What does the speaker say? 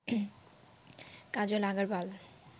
Kajal Agarwal